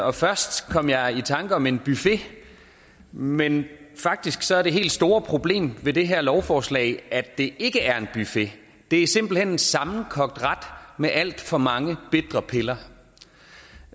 og først kom jeg i tanker om en buffet men faktisk er det helt store problem ved det her lovforslag at det ikke er en buffet det er simpelt hen en sammenkogt ret med alt for mange bitre piller